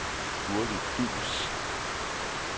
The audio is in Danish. Gurli Duus